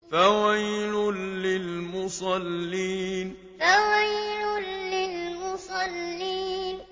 فَوَيْلٌ لِّلْمُصَلِّينَ فَوَيْلٌ لِّلْمُصَلِّينَ